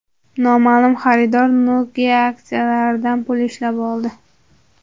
Noma’lum xaridor Nokia aksiyalaridan pul ishlab oldi.